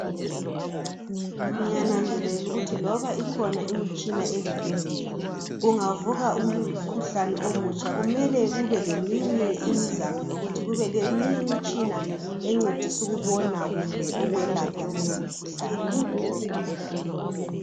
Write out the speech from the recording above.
Ngiyananzelela ukuthi loba ikhona imitshina ezibhedlela kungavuka umkhuhlane omutsha kumele kube leminye imizamo yokuthi kube leminye imitshina encedisa ukubona kumbe ukwelapha leyo mikhuhlane .